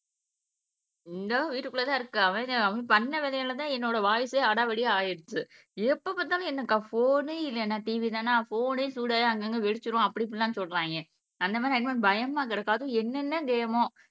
இதோ வீட்டுக்குள்ளதான் இருக்கு அவன் அவன் பண்ண வேலையாலதான் என்னோட வாய்ஸே அடாவடியா ஆயிடுச்சு. எப்ப பார்த்தாலும் என்னக்கா போனு இல்லைன்னா TV தான போனே சூடாகி அங்கங்க வெடிச்சிரும் அப்படி இப்படி எல்லாம் சொல்றாங்க அந்த மாதிரி பயமா கிடக்கு அதுவும் என்னென்ன கேம்மோ